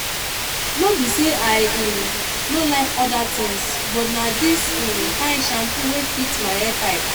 no be sey i um no like oda things but na dis um kind shampoo wey fit my hair type.